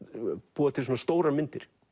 búa til stórar myndir